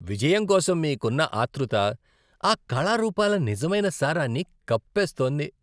విజయం కోసం మీకున్న ఆత్రుత ఆ కళారూపాల నిజమైన సారాన్ని కప్పేస్తోంది.